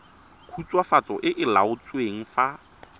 khutswafatso e e laotsweng fa